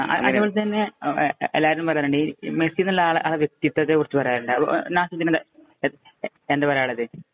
അതുപോലെ തന്നെ എല്ലാരും പറയുന്നുണ്ട്. മെസ്സി എന്ന വ്യക്തിത്വത്തെ കുറിച്ച് പറയാറുണ്ട്. നാസിമുദ്ദീന് എന്താ പറയാനുള്ളത്.